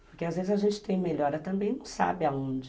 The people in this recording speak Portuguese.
Porque às vezes a gente tem melhora também e não sabe aonde.